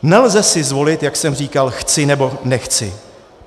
Nelze si zvolit, jak jsem říkal, chci, nebo nechci.